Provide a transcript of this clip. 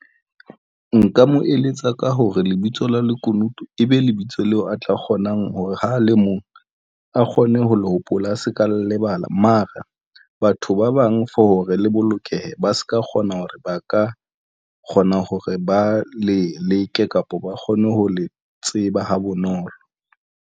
Nka mo eletsa ka hore lebitso la lekunutu ebe lebitso leo a tla kgonang hore ha a le mong a kgone ho le hopola, a se ka lebala mara batho ba bang for hore le bolokehe ba se ka kgona hore ba ka kgona hore ba le leke kapa ba kgone ho le tseba ha bonolo.